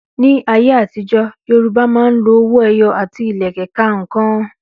Ní ayé àtijó, Yorùbá máa ń lo owó ẹyọ àti Ìlẹ̀kẹ̀ ka ǹkan